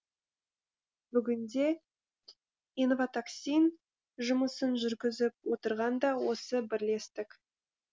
бүгінде инватаксин жұмысын жүргізіп отырған да осы бірлестік